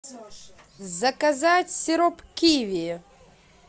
заказать сироп киви